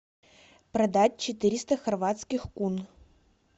продать четыреста хорватских кун